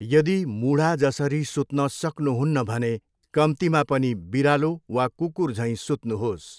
यदि मुढा जसरी सुत्न सक्नुहुन्न भने कम्तीमा पनि बिरालो वा कुकुरझैँ सुत्नुहोस्।